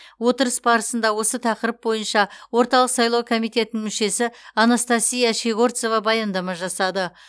отырыс барысында осы тақырып бойынша орталық сайлау комитетінің мүшесі анастасия щегорцова баяндама жасады